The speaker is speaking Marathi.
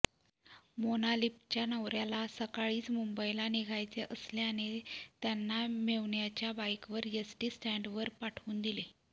मोनालीपच्या नवऱ्याला सकाळीच मुंबईला निघायचे असल्याने त्यांना मेव्हण्याच्या बाईकवर एसटी स्टँडवर पाठऊन दिले